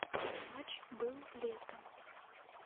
матч был летом